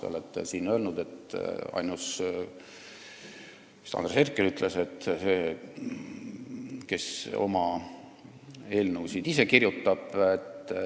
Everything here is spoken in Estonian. Te olete siin ise öelnud Andres Herkeli suu läbi, et te olete ainus fraktsioon, kes ise oma eelnõusid kirjutab.